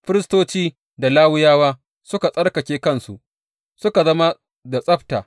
Firistoci da Lawiyawa suka tsarkake kansu, suka zama da tsabta.